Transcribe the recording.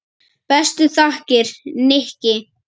Bestu þakkir, Nikki.